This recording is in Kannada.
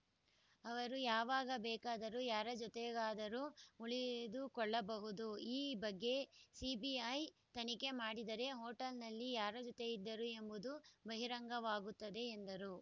ಅವರು ಯಾವಾಗ ಬೇಕಾದರೂ ಯಾರ ಜೊತೆಗಾದರೂ ಉಳಿಯದು ಕೊಳ್ಳಬಹುದು ಈ ಬಗ್ಗೆ ಸಿಬಿಐ ತನಿಖೆ ಮಾಡಿದರೆ ಹೋಟೆಲ್‌ನಲ್ಲಿ ಯಾರ ಜೊತೆ ಇದ್ದರು ಎಂಬುದು ಬಹಿರಂಗವಾಗುತ್ತದೆ ಎಂದರು